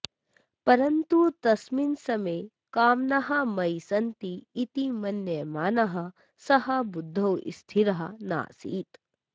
परन्तु तस्मिन् समये कामनाः मयि सन्ति इति मन्यमानः सः बुद्धौ स्थिरः नासीत्